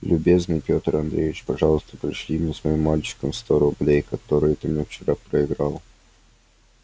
любезный петр андреевич пожалуйста пришли мне с моим мальчиком сто рублей которые ты мне вчера проиграл